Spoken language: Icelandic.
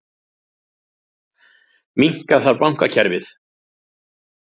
Minnka þarf bankakerfið